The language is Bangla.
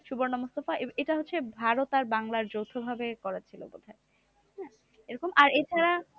সুবর্ণা মুস্তাফা এটা হচ্ছে ভারত আর বাংলার যৌথ ভাবে করা ছিল বোধহয়। এরকম আর এছাড়া